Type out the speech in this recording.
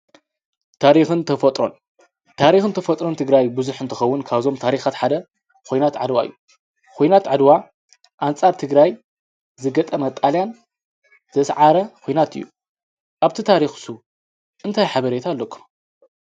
ታሪኽን ተፈጦን ታሪኽ ንተፈጥሮን ትግራይ ብዙኅ እንተኸውን ካዞም ታሪኻት ሓደ ኾይናት ዓድዋ እዩ ኾይናት ዕድዋ ኣንፃር ትግራይ ዝገጠመ ጣልያን ዘሠዓረ ዄይናት እዩ ኣብቲ ታሪኽሱ እንተ ኅበሬየት ኣለኩም